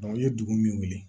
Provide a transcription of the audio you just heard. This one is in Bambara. u ye dugu min wele